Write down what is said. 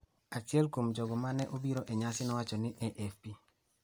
achiel kuom jogo ma ne obiro e nyasi no nowacho ne AFP.